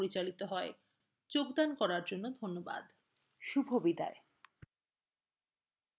অন্তরা এই tutorial অনুবাদ এবং রেকর্ড করেছেন